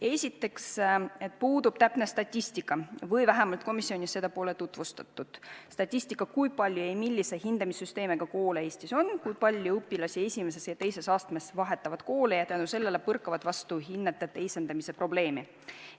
Esiteks, puudub täpne statistika või vähemalt komisjonis seda pole tutvustatud, kui palju millise hindamissüsteemiga koole Eestis on ning kui paljud õpilased I ja II astmes vahetavad kooli ja tänu sellele põrkavad vastu hinnete teisendamise probleemi.